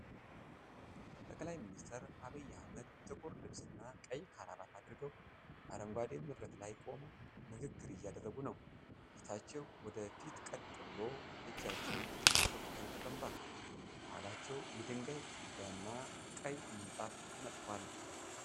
ጠቅላይ ሚኒስትር ዐብይ አህመድ ጥቁር ልብስና ቀይ ክራባት አድርገው፣ አረንጓዴ መድረክ ላይ ቆመው ንግግር እያደረጉ ነው። ፊታቸው ወደ ፊት ቀጥ ብሎ፣ እጃቸው በጽሑፎች ላይ ተቀምጧል። ከኋላቸው የድንጋይ ግድግዳና ቀይ ምንጣፍ ተንጣሏል።